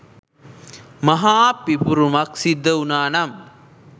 මහා පිපිරුමක් සිද්ධ වුණානම්